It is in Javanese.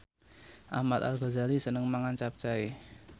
Ahmad Al Ghazali seneng mangan capcay